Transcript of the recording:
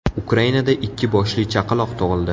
Ukrainada ikki boshli chaqaloq tug‘ildi.